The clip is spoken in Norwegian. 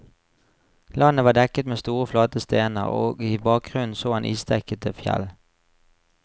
Landet var dekket med store flate stener, og i bakgrunnen så han isdekkede fjell.